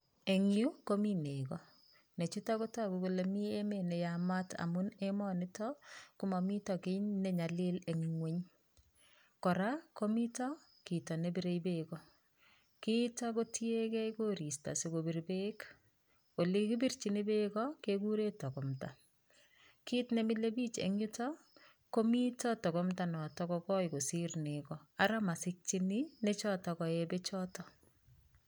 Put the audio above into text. Eng yu komi nego ,Nechuto kotoku kole mii emet neyamat amun emonito komomito kii nenyalil eng ingweny, kora komito kito nebire beek ko kiito kotieke koristo sikobir beek olekibirchini beek ko kekuren tokomta, kit nemilebich en yuto komito tokomta noto kokoi kosir nego ara mosikyini nechoto koe bechoto.